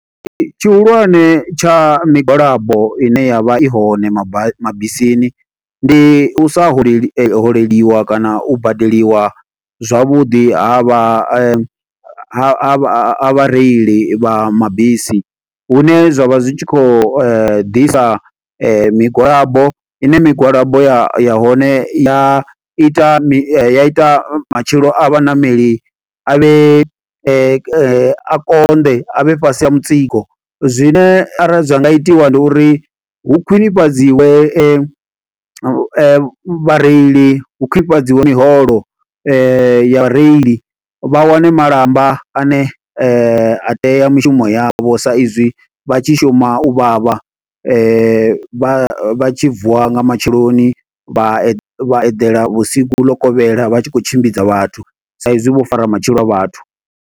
Tshihulwane tsha migwalabo ine yavha i hone maba mabisini, ndi u sa holeli holeliwa kana u badeliwa zwavhuḓi ha vha, ha vha reili vha mabisi Hune zwavha zwi tshi khou ḓisa migwalabo. i ne migwalabo ya ya hone ya ita mi, ya ita matshilo a vhaṋameli a vhe. a konḓe a vhe fhasi ha mutsiko. Zwine arali zwa nga itiwa ndi uri, hu khwinifhadziwa vhareili, hu khwinifhadziwa miholo ya vhareili. Vha wane malamba ane a tea mishumo yavho sa sa izwi vha tshi shuma u vhavha. Vha tshi vuwa nga matsheloni vha vha eḓela vhusiku ḽo kovhela, vha tshi khou tshimbidza vhathu. Sa izwi vho fara matshilo a vhathu.